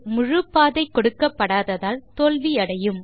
முழுப்பாதை கொடுக்கப்படாததால் தோல்வி அடையும்